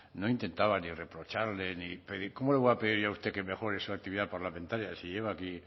no intentaba ni reprocharle ni cómo le voy a pedir yo a usted que mejore su actividad parlamentaria si lleva aquí